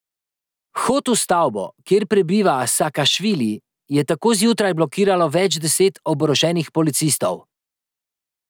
Vhod v stavbo, kjer prebiva Sakašvili, je tako zjutraj blokiralo več deset oboroženih policistov.